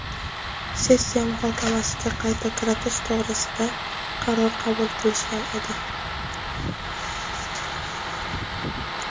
sessiya muhokamasiga qayta kiritish to‘g‘risida qaror qabul qilishgan edi.